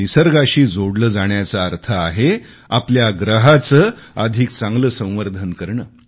निसर्गाशी जोडले जाण्याचा अर्थ आहे आपल्या ग्रहाचे अधिक चांगले संवर्धन करणे